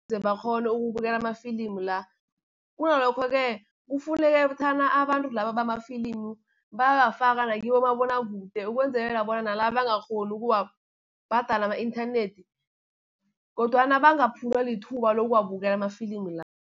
Ukuze bakghone ukubukela amafilimu la, kunalokho-ke kufuneka thana abantu laba bamafilimu, bayawafaka nakibomabonakude ukwenzelela bona nalaba abangakghoni ukuwabhadala ama-inthanethi, kodwana bangaphundwa lithuba lokuwabukela amafilimu la.